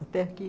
Até aqui?